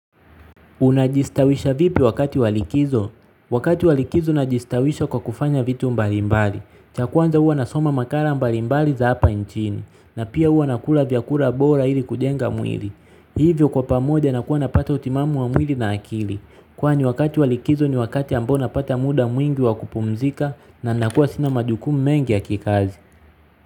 Unajistawisha vipi wakati wa likizo? Wakati wa likizo najistawisha kwa kufanya vitu mbalimbali. Cha kwanza huwa nasoma makala mbalimbali za hapa nchini. Na pia huwa nakula vyakula bora ili kujenga mwili. Hivyo kwa pamoja nakuwa napata utimamu wa mwili na akili. Kwani wakati wa likizo ni wakati ambao napata muda mwingi wa kupumzika na nakuwa sina majukumu mengi ya kikazi.